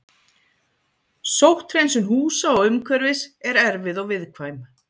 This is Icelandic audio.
Sótthreinsun húsa og umhverfis er erfið og viðkvæm.